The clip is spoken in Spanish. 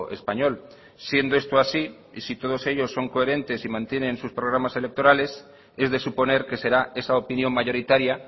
español siendo esto así y si todos ellos son coherentes y mantienen sus programas electorales es de suponer que será esa opinión mayoritaria